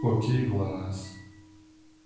окей глонассс